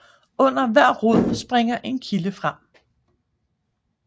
Under hver rod springer en kilde frem